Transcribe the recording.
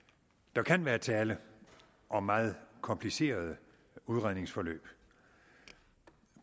der kan være tale om meget komplicerede udredningsforløb